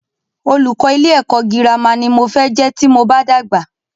Olùkọ́ ilé ẹ̀kọ́ gírámà ní mo fẹ́ jẹ́ tí mo bá dàgbà.